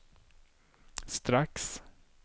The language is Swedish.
strax